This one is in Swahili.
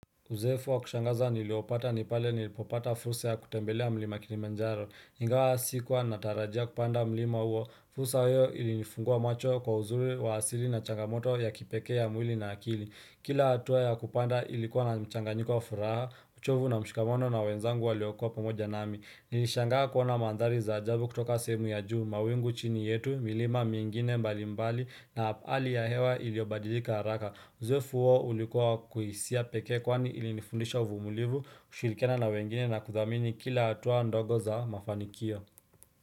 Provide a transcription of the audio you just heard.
Uzoefu wa kushangaza niliopata ni pale nilipopata fursa ya kutembelea mlima kiliimanjaro. Ingawa sikuwa natarajia kupanda mlima huo. Fursa hiyo ilinifungua macho kwa uzuri wa asili na changamoto ya kipekee ya mwili na akili. Kila hatua ya kupanda ilikuwa na mchanganyiko wa furaha, uchovu na mshikamano na wenzangu waliokuwa pamoja nami. Nilishangaa kuona mandhari za ajabu kutoka sehemu ya juu, mawingu chini yetu, milima mingine mbali mbali na hali ya hewa iliobadilika haraka. Uchovu huo ulikuwa wa kihisia pekee kwani ilinifundisha uvumilivu kushirikiana na wengine na kuthamini kila hatua ndogo za mafanikio.